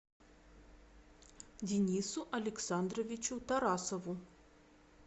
денису александровичу тарасову